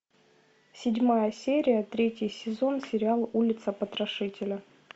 седьмая серия третий сезон сериал улица потрошителя